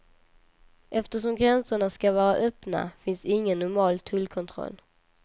Eftersom gränserna ska vara öppna finns ingen normal tullkontroll.